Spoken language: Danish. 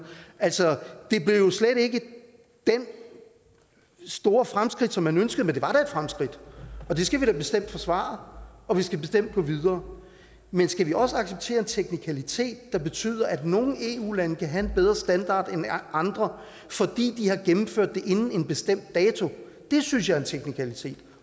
altså det blev jo slet ikke det store fremskridt som man ønskede men det var da et fremskridt og det skal vi da bestemt forsvare og vi skal bestemt gå videre men skal vi også acceptere en teknikalitet der betyder at nogle eu lande kan have en bedre standard end andre fordi de har gennemført det inden en bestemt dato det synes jeg er en teknikalitet